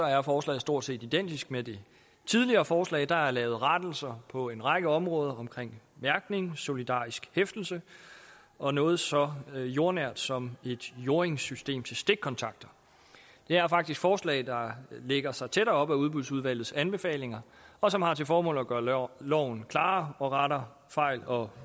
er forslaget stort set identisk med det tidligere forslag der er lavet rettelser på en række områder omkring mærkning solidarisk hæftelse og noget så jordnært som et jordingssystem til stikkontakter det er faktisk forslag der lægger sig tæt op af udbudsudvalgets anbefalinger og som har til formål at gøre loven klarere og rette fejl og